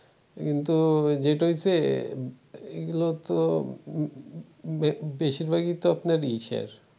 কিন্তু যেটা হইছে এগুলো তো বেশিরভাগ ই তো আপনার ইশের